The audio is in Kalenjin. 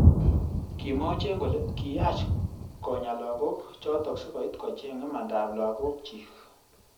Kimwa Ochieng kole kiyach konya lakok. chotok sikoit kocheng imanda ab lakok chik.